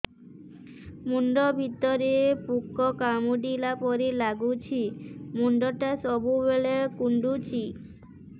ମୁଣ୍ଡ ଭିତରେ ପୁକ କାମୁଡ଼ିଲା ପରି ଲାଗୁଛି ମୁଣ୍ଡ ଟା ସବୁବେଳେ କୁଣ୍ଡୁଚି